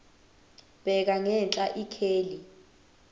bheka ngenhla ikheli